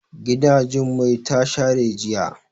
Gida Jummai ta share jiya.